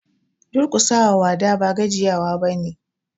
Duƙusa wa wada ba gajiya wa ba ne.